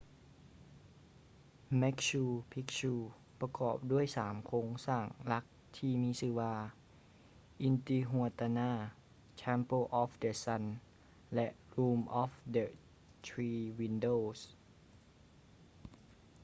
machu picchu ປະກອບດ້ວຍສາມໂຄງສ້າງຫຼັກທີ່ມີຊື່ວ່າ intihuatana temple of the sun ແລະ room of the three windows